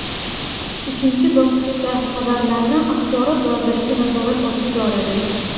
Uchinchi bosqichda xabarlarni Axborot vazirligi nazorat ostiga oladi.